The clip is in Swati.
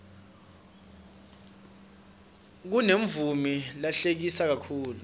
kunemamuvi lahlekisa kakhulu